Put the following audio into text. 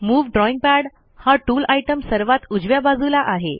move drawing pad हा tool item सर्वात उजव्या बाजूला आहे